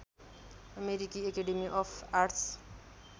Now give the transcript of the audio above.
अमेरिकी academy of arts